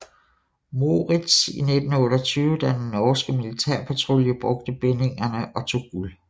Moritz i 1928 da den norske militærpatrulje brugte bindingerne og tog guld